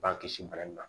B'an kisi bana in ma